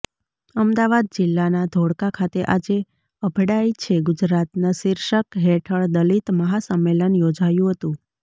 અમદાવાદ જિલ્લાના ધોળકા ખાતે આજે અભડાય છે ગુજરાતના શીર્ષક હેઠળ દલિત મહાસંમેલન યોજાયું હતું